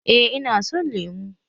Eh Ina son lemu